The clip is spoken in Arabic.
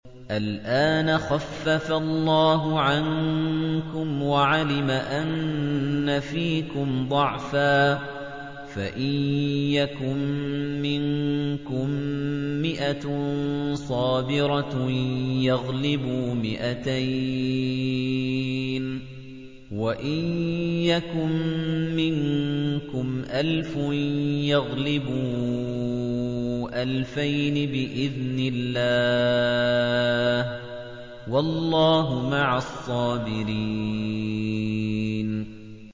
الْآنَ خَفَّفَ اللَّهُ عَنكُمْ وَعَلِمَ أَنَّ فِيكُمْ ضَعْفًا ۚ فَإِن يَكُن مِّنكُم مِّائَةٌ صَابِرَةٌ يَغْلِبُوا مِائَتَيْنِ ۚ وَإِن يَكُن مِّنكُمْ أَلْفٌ يَغْلِبُوا أَلْفَيْنِ بِإِذْنِ اللَّهِ ۗ وَاللَّهُ مَعَ الصَّابِرِينَ